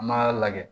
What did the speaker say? An b'a lajɛ